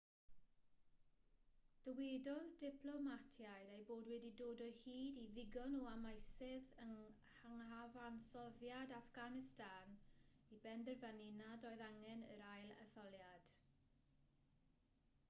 dywedodd diplomatiaid eu bod wedi dod o hyd i ddigon o amwysedd yng nghyfansoddiad affganistan i benderfynu nad oedd angen yr ail-etholiad